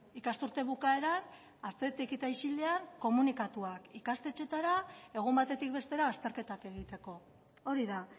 ikasturte bukaeran atzetik eta isilean komunikatuak ikastetxeetara egun batetik bestera azterketak egiteko hori da